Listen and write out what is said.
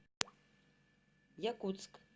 якутск